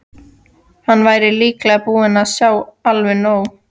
Hann væri líklega búinn að sjá alveg nóg.